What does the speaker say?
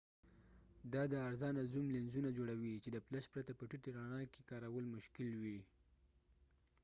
دا د ارزانه زوم لینزونه جوړوي چې د فلش پرته په ټیټې رڼا کې کارول مشکل وي